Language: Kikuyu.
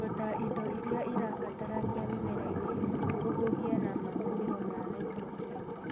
ota indo iria ĩrabatarania mĩmera-inĩ, kũhuhia na mahũthĩro ma naitrojeni